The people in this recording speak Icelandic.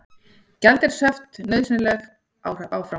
Gjaldeyrishöft nauðsynleg áfram